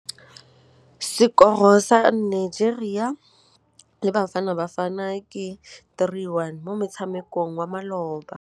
Sekôrô sa Nigeria le Bafanabafana ke 3-1 mo motshamekong wa malôba.